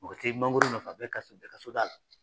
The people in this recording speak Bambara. Mɔgɔ t'ɛ mangoro nafa bɛ ka sɔrɔ bɛ ka soda la,